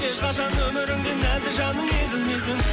ешқашан өміріңде нәзік жаның езілмесін